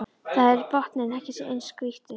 Þar er botninn ekki eins grýttur